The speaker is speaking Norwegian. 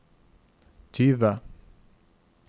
tyve